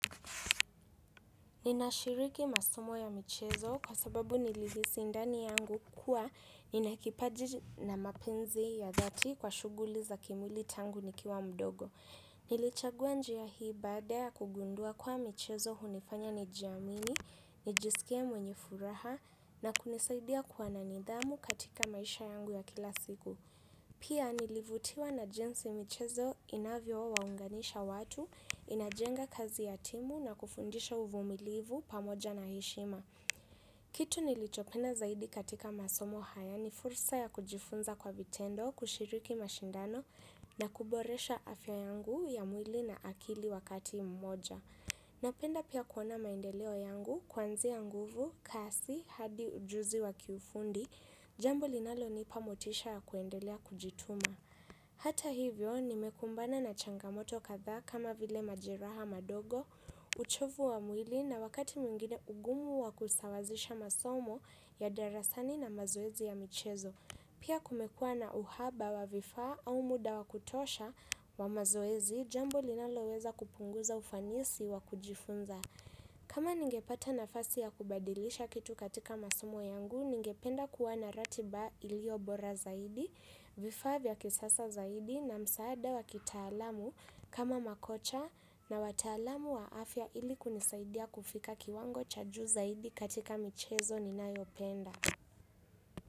Ninashiriki masomo ya michezo kwa sababu nilihisi ndani yangu kuwa nina kipaji na mapenzi ya dhati kwa shughuli za kimwili tangu nikiwa mdogo. Nilichagua njia hii baada ya kugundua kuwa michezo hunifanya nijiamini, nijisikie mwenye furaha na kunisaidia kuwa na nidhamu katika maisha yangu ya kila siku. Pia nilivutiwa na jinsi michezo inavyowaunganisha watu, inajenga kazi ya timu na kufundisha uvumilivu pamoja na heshima. Kitu nilichopenda zaidi katika masomo haya ni fursa ya kujifunza kwa vitendo, kushiriki mashindano na kuboresha afya yangu ya mwili na akili wakati mmoja. Napenda pia kuona maendeleo yangu, kuanzia nguvu, kasi, hadi ujuzi wa kiufundi, jambo linalonipa motisha ya kuendelea kujituma. Hata hivyo, nimekumbana na changamoto kadhaa kama vile majeraha madogo, uchovu wa mwili na wakati mwingine ugumu wa kusawazisha masomo ya darasani na mazoezi ya michezo. Pia kumekua na uhaba wa vifaa au muda wa kutosha wa mazoezi, jambo linaloweza kupunguza ufanisi wa kujifunza. Kama ningepata nafasi ya kubadilisha kitu katika masomo yangu, ningependa kuwa na ratiba iliyo bora zaidi, vifaa vya kisasa zaidi na msaada wa kitaalamu kama makocha na wataalamu wa afya ili kunisaidia kufika kiwango cha juu zaidi katika michezo ninayopenda.